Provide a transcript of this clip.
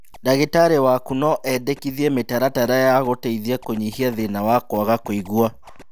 Ndagĩtarĩ waku no endekithie mĩtaratara ya gũteithia kũnyihia thĩna wa kwaga kũigua